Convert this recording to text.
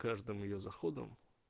каждым её заходом